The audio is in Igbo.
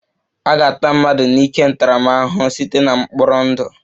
A ga-ata mmadụ n'ike ntaramahụhụ site na mkpọrọ ndụ